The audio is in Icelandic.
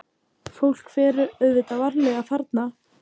Fólk fer auðvitað varlega þarna.